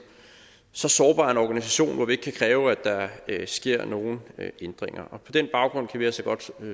så sårbar en organisation hvor vi ikke kan kræve at der sker nogen ændringer på den baggrund kan vi altså godt